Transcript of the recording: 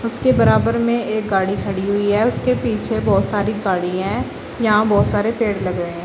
इसके बराबर में एक गाड़ी खड़ी हुई है उसके पीछे बहुत सारी गाड़ी हैं यहां बहुत सारे पेड़ लगे हैं।